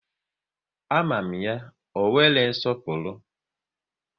A ma ya, ọ nwere nsọpụrụ